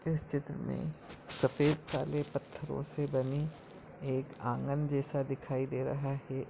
इस चित्र मे सफेद काले पत्थरों से बनी एक आँगन जैसा दिखाई दे रहा है।